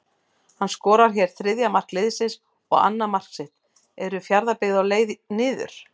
HANN SKORAR HÉR ÞRIÐJA MARK LIÐSINS OG ANNAÐ MARK SITT, ERU FJARÐABYGGÐ Á LEIÐ NIÐUR???